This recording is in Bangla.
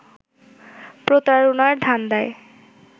প্রতারণার ধান্দায়